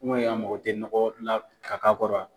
I man ye a mago tɛ nɔgɔ la ka k'a kɔrɔ wa.